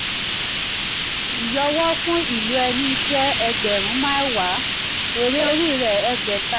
ìyọwọ́ fún ìlò ẹni jẹ́ ẹgbẹ̀rún um mẹ́wàá èrè orí rẹ̀ ẹ̀ẹ́gbẹ̀ta. ẹ̀ẹ́gbẹ̀ta.